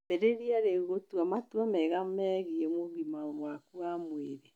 Ambĩrĩrie rĩu gũtua matua mega megiĩ ũgima waku wa mwĩrĩ.